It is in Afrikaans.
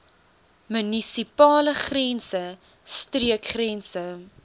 munisipale grense streekgrense